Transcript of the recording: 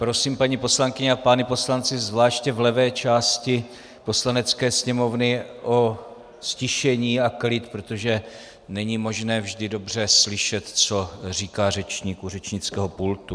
Prosím paní poslankyně a pány poslance zvláště v levé části Poslanecké sněmovny o ztišení a klid, protože není možné vždy dobře slyšet, co říká řečník u řečnického pultu.